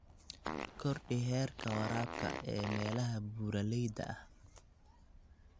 Kordhi heerka waraabka ee meelaha buuraleyda ah.